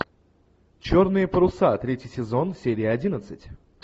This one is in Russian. черные паруса третий сезон серия одиннадцать